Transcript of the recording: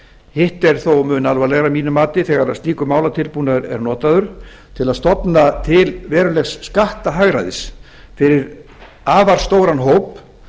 hitt er þó mun alvarlegra að mínu mati þegar slíkur málatilbúnaður er notaður til að stofna til verulegs skattahagræðis fyrir afar stóran hóp